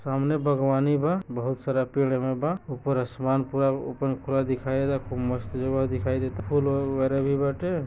सामने भगवानी बा बहोत सारा पेड़